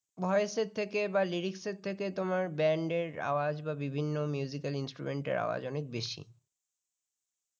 voice এর থেকে বা lyrics এর থেকে তোমার band র আওয়াজ বা বিভিন্ন al ল instrument এর আওয়াজ অনেক বেশি